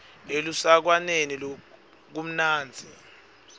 elusekwaneni kumnandzi